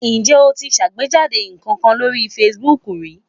Ǹjẹ́ o ti ṣàgbéjáde nǹkan kan sórí Facebook rí?